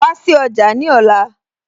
Wá sí ọjà ní ọ̀la